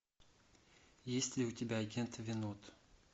есть ли у тебя агент винод